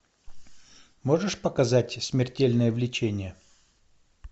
можешь показать смертельное влечение